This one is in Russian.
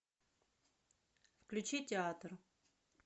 включи театр